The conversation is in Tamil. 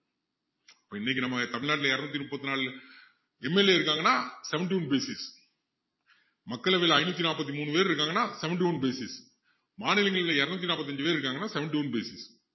இப்போ இன்னைக்கு நம்ம தமிழ்நாட்டுல இருநூத்தி முப்பத்து நாலு MLA இருக்காங்கன்னா seventy-one basis மக்களவையில ஐநூத்தி நாப்பத்தி மூணு பேர் இருக்காங்கன்னா seventy-one basis மாநிலங்களில இருநூத்து நாப்பத்தி அஞ்சு பேர் இருக்காங்கன்னா seventy-one basis